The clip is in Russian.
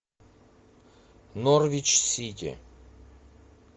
норвич сити